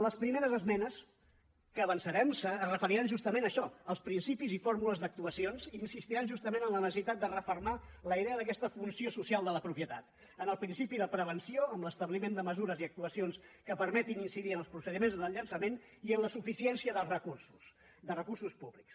les primeres esmenes que avançarem es referiran justament a això als principis i fórmules d’actuacions i insistiran justament en la necessitat de refermar la idea d’aquesta funció social de la propietat en el principi de prevenció amb l’establiment de mesures i actuacions que permetin incidir en els procediments de llançament i en la suficiència de recursos de recursos públics